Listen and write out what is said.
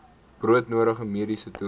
broodnodige mediese toerusting